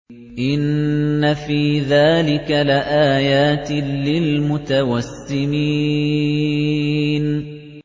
إِنَّ فِي ذَٰلِكَ لَآيَاتٍ لِّلْمُتَوَسِّمِينَ